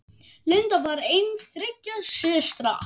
Linda var ein þriggja systra.